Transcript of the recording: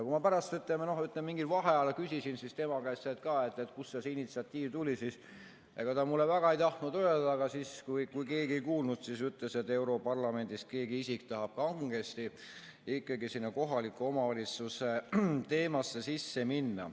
Kui ma pärast mingil vaheajal küsisin tema käest, kust see initsiatiiv tuli, siis ega ta mulle väga ei tahtnud öelda, aga siis, kui keegi parajasti ei kuulnud, ütles, et europarlamendis keegi isik tahab kangesti ikkagi sinna kohaliku omavalitsuse teemasse sisse minna.